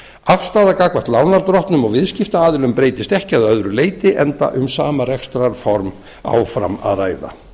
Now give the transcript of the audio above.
afstaða gagnvart lánardrottnum og viðskiptaaðilum breytist ekki að öðru leyti enda um sama rekstrarform áfram að ræða